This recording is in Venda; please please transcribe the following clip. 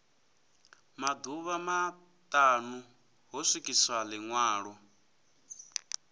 maḓuvha maṱanu ho swikiswa ḽiṅwalo